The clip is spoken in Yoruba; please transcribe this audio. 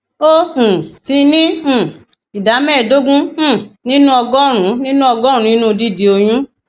ó um ti ní um ìdá mẹẹẹdógún um nínú ọgọrùnún nínú ọgọrùnún nínú dídi oyún